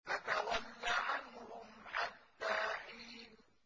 فَتَوَلَّ عَنْهُمْ حَتَّىٰ حِينٍ